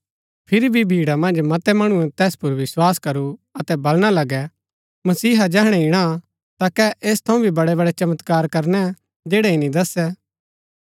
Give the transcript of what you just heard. फिरी भी भीड़ा मन्ज मतै मणुऐ तैस पुर विस्वास करू अतै बलणा लगै मसीहा जैहणै ईणा ता कै ऐस थऊँ भी बड़ैबड़ै चमत्कार करणै जैड़ै ईनी दस्सै